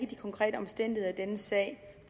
de konkrete omstændigheder i denne sag